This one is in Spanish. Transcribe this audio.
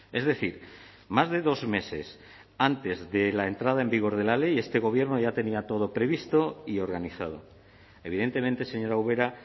es decir más de dos meses antes de la entrada en vigor de la ley este gobierno ya tenía todo previsto y organizado evidentemente señora ubera